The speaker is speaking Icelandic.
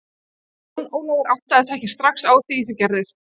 Jón Ólafur áttaði sig ekki srax á því sem gerðist.